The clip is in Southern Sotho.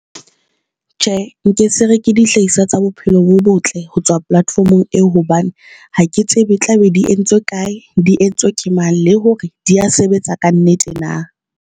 Tjhe, nke se re ke dihlahiswa tsa bophelo bo botle ho tswa platfomong eo. Hobane ha ke tsebe tla be di entswe kae, di entswe ke mang, le hore di a sebetsa ka nnete na?